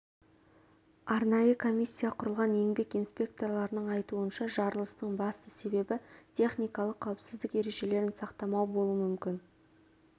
арнайы комиссия құрылған еңбек инспекторларының айтуынша жарылыстың басты себебі техникалық қауіпсіздік ережелерін сақтамау болуы мүмкін